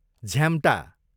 झ्याम्टा